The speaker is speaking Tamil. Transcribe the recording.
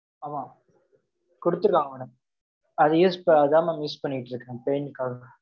ஆமா. குடுத்திருக்காங்க madam. அதை use அதான் mam use பண்ணிட்டு இருக்கேன், pain க்காக.